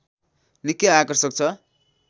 निकै आकर्षक छ